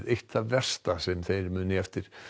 eitt það versta sem þeir muna eftir